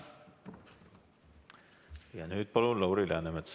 Ja nüüd palun siia Lauri Läänemetsa.